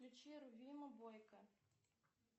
включи рувима бойко